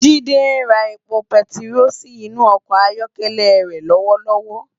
Jide n rá épó pètiró si inú òkò áyòkèlè re lòwòlòwò